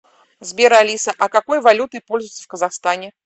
сбер алиса а какой валютой пользуются в казахстане